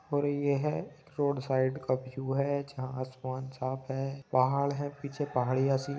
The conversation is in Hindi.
और यह है रोड साईड का व्यू है | जहाँ आसमान साफ़ है | पहाड़ है पीछे पहाड़ी ऐसी --